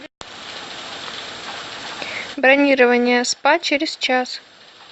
бронирование спа через час